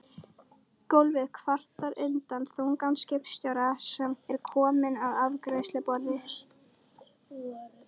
Gólfið kvartar undan þunga skipstjórans sem er kominn að afgreiðsluborð